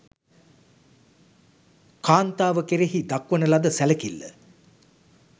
කාන්තාව කෙරෙහි දක්වන ලද සැලකිල්ල